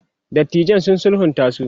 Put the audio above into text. dattijan sun sulhunta su